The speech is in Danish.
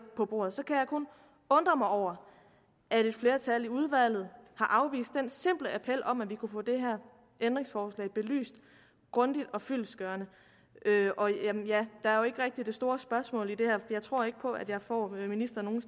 på bordet kan jeg kun undre mig over at et flertal i udvalget har afvist den simple appel om at vi kunne få det her ændringsforslag belyst grundigt og fyldestgørende der er jo ikke rigtigt det store spørgsmål i det her jeg tror ikke på at jeg får ministeren nogle